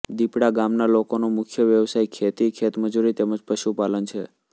દિપડા ગામના લોકોનો મુખ્ય વ્યવસાય ખેતી ખેતમજૂરી તેમ જ પશુપાલન છે